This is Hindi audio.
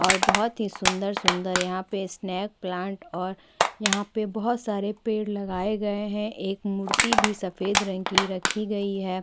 और बहोत ही सुन्दर-सुन्दर यहाँ पे स्नेक प्लांट और यहाँ पे बहोत सारे पेड़ लगाए गए है एक मूर्ति भी सफेद रंग की रखी गई है।